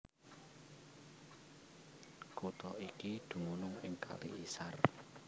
Kutha iki dumunung ing Kali Isar